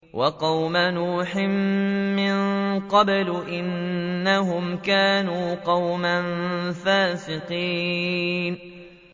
وَقَوْمَ نُوحٍ مِّن قَبْلُ ۖ إِنَّهُمْ كَانُوا قَوْمًا فَاسِقِينَ